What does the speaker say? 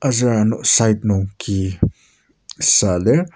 Aser ano side nung ki süa lir.